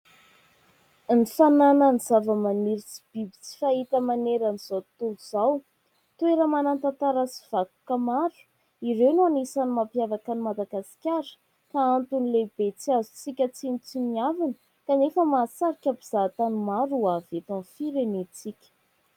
Ny fananana zavamaniry sy biby tsy fahita maneran'izao tontolo izao, toera-manan-tantara sy vakoka maro : ireo no anisany mampiavaka an'i Madagasikara ka antony lehibe tsy azontsika tsinotsiniavana kanefa mahasarika mpizahatany maro hoavy eto amin'ny firenentsika.